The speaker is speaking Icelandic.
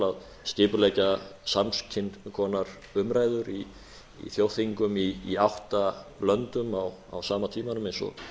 að skipuleggja sams konar umræður í þjóðþingum í átta löndum á sama tímanum eins og